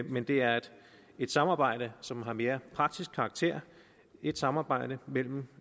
men det er et samarbejde som har mere praktisk karakter et samarbejde mellem